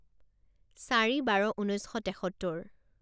চাৰি বাৰ ঊনৈছ শ তেসত্তৰ